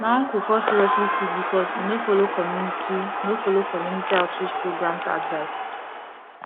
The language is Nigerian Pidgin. my uncle fall seriously sick because he no follow community no follow community outreach programs advice